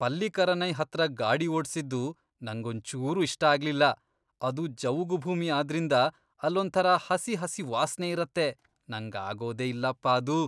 ಪಲ್ಲಿಕರನೈ ಹತ್ರ ಗಾಡಿ ಓಡ್ಸಿದ್ದು ನಂಗೊಂಚೂರೂ ಇಷ್ಟ ಆಗ್ಲಿಲ್ಲ. ಅದು ಜವುಗು ಭೂಮಿ ಆದ್ರಿಂದ ಅಲ್ಲೊಂಥರ ಹಸಿ ಹಸಿ ವಾಸ್ನೆ ಇರತ್ತೆ, ನಂಗಾಗೋದೇ ಇಲ್ಲಪ್ಪ ಅದು.